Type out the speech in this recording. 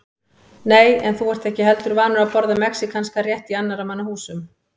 Nei, en þú ert ekki heldur vanur að borða mexíkanskan rétt í annarra manna húsum